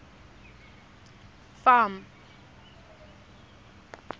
farm